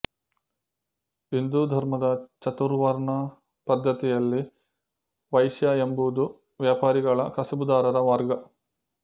ಹಿಂದೂ ಧರ್ಮದ ಚತುರ್ವರ್ಣ ಪದ್ಧತಿಯಲ್ಲಿ ವೈಶ್ಯ ಎಂಬುದು ವ್ಯಾಪಾರಿಗಳ ಕಸಬುದಾರರ ವರ್ಗ